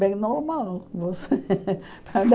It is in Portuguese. Bem normal. Você